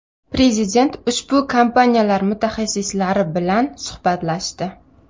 Prezident ushbu kompaniyalar mutaxassislari bilan suhbatlashdi.